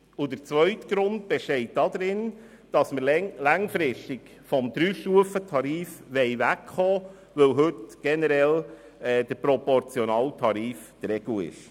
Der zweite Grund besteht darin, dass wir längerfristig vom Dreistufentarif wegkommen wollen, weil heute generell der proportionale Tarif die Regel ist.